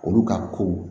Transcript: Olu ka ko